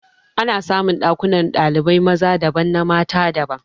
Ana samun Ɗakuna kwanan dalibai maza daban na mata daban